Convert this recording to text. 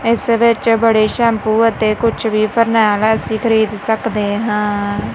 ਇਸ ਵਿੱਚ ਬੜੇ ਸ਼ੈਂਪੂ ਅਤੇ ਕੁਛ ਵੀ ਫੀਨਾਇਲ ਅਸੀ ਖਰੀਦ ਸਕਦੇ ਹਾਂ।